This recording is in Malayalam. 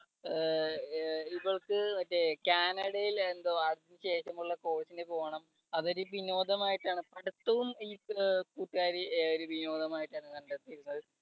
അഹ് ഇവൾക്ക് മറ്റേ കാനഡയിൽ എന്തോ അതിനുശേഷം ഉള്ള course ന് പോണം അതൊരു വിനോദമായിട്ടാണ് പഠിത്തവും ഈ കൂട്ടുകാരി ഒരു വിനോദമായിട്ടാണ് കണ്ടെത്തിയിരുന്നത്.